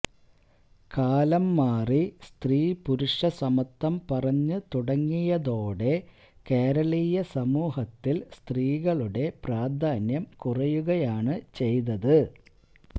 കാലം മാറി സ്ത്രീപുരുഷ സമത്വം പറഞ്ഞ് തുടങ്ങിയതോടെ കേരളീയ സമൂഹത്തില് സ്ത്രീകളുടെ പ്രാധാന്യം കുറയുകയാണ് ചെയ്തത്